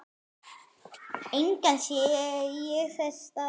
Engan sé ég þess stað.